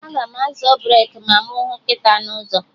Aga m azọ breki ma mụ hụ nkịta n'ụzọ